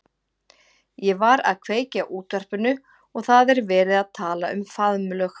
Ég var að kveikja á útvarpinu og það er verið að tala um faðmlög.